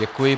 Děkuji.